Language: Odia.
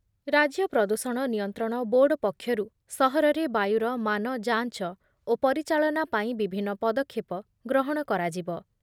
ରାଜ୍ୟ ପ୍ରଦୂଷଣ ନିୟନ୍ତ୍ରଣ ବୋର୍ଡ ପକ୍ଷରୁ ସହରରେ ବାୟୁର ମାନ ଯାଞ୍ଚ ଓ ପରିଚାଳନା ପାଇଁ ବିଭିନ୍ନ ପଦକ୍ଷେପ ଗ୍ରହଣ କରାଯିବ ।